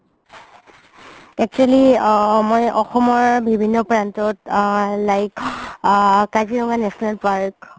actually uh মই অসমৰ বিভিন্ন প্ৰান্তত like uh Kaziranga national park